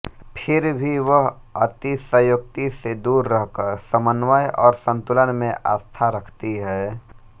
फिर भी वह अतिशयोक्ति से दूर रहकर समन्वय और संतुलन में आस्था रखती है